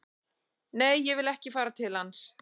Nei, ég vil ekki fara til hans